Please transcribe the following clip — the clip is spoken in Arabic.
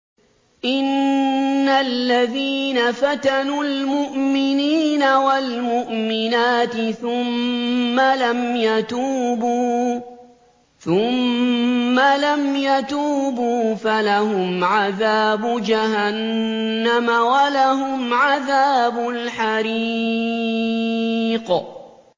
إِنَّ الَّذِينَ فَتَنُوا الْمُؤْمِنِينَ وَالْمُؤْمِنَاتِ ثُمَّ لَمْ يَتُوبُوا فَلَهُمْ عَذَابُ جَهَنَّمَ وَلَهُمْ عَذَابُ الْحَرِيقِ